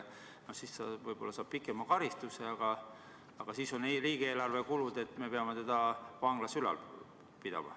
Siis ta võib-olla saab pikema karistuse, aga siis on riigieelarve kulud ja me peame teda vanglas ülal pidama.